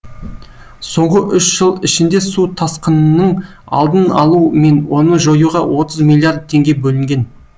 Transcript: соңғы үш жыл ішінде су тасқынының алдын алу мен оны жоюға отыз миллиард теңге бөлінген